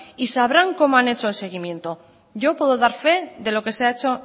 y sabrán cómo han hecho el seguimiento yo puedo dar fe de lo que se ha hecho